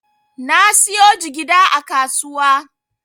Na siyo jigida a kasuwa.